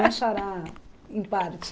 em parte.